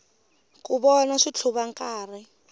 ku vona switlhuva nkarhi